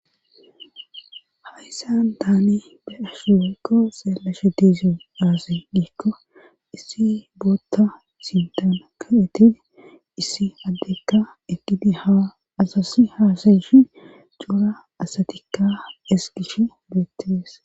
hayssan tsnibe ashu ekko seelashe diizi yaase diikko issi bootta sintan ka7eti issi addekka egidi haa asasi haasayishi coura asatikka esgish beettees